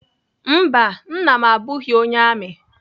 Mba, Nna m abụghị onye amị.